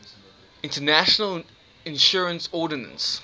international insurance ordinance